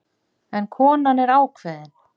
En konan er ákveðin.